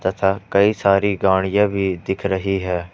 तथा कई सारी गाड़ियां भी दिख रही है।